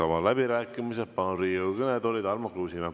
Avan läbirääkimised ja palun Riigikogu kõnetooli Tarmo Kruusimäe.